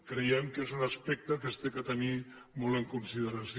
creiem que és un aspecte que s’ha de tenir molt en consideració